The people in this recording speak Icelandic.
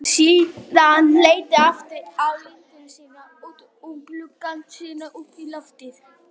Síðan leit ég aftur á Inda, síðan út um gluggann, síðan upp í loftið.